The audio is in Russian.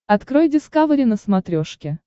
открой дискавери на смотрешке